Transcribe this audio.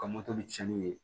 Ka cɛnni ye